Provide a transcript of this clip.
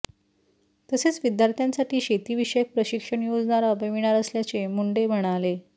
तसेच विद्यार्थ्यांसाठी शेतीविषयक प्रशिक्षण योजना राबविणार असल्याचे मुंडे म्हणाले